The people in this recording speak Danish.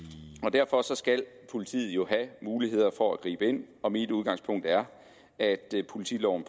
derfor skal politiet jo have muligheder for at gribe ind og mit udgangspunkt er at politiloven